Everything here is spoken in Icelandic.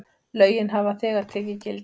Lögin hafa þegar tekið gildi.